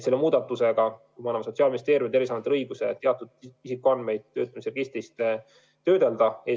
Selle muudatusega me anname Sotsiaalministeeriumile ja Terviseametile õiguse teatud isikuandmeid registri abil töödelda.